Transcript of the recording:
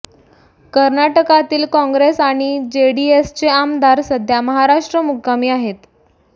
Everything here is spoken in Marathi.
कर्नाटकातील काँग्रेस आणि जेडीएसचे आमदार सध्या महाराष्ट्र मुक्कामी आहेत